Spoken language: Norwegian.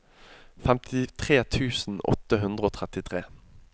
femtitre tusen åtte hundre og trettitre